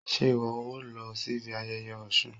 se iwọ o lo sibí ayéyé Òsún?